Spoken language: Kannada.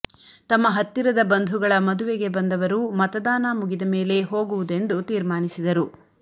ತಮ್ಮ ಹತ್ತಿರದ ಬಂಧುಗಳ ಮದುವೆಗೆ ಬಂದವರು ಮತದಾನ ಮುಗಿದಮೇಲೆ ಹೋಗುವುದೆಂದು ತೀರ್ಮಾನಿಸಿದರು